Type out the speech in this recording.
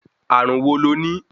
Ààrùn wo lo ní?